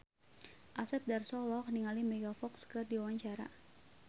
Asep Darso olohok ningali Megan Fox keur diwawancara